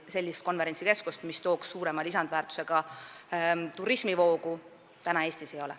Sellist konverentsikeskust, mis tooks Eestisse suurema lisandväärtusega turismivoo, meil praegu ei ole.